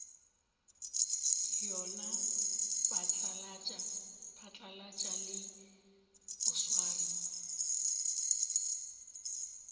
yona phatlalatša le go swara